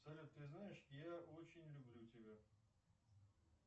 салют ты знаешь я очень люблю тебя